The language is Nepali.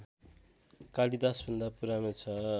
कालिदासभन्दा पुरानो छ